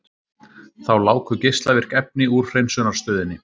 Þá láku geislavirk efni úr hreinsunarstöðinni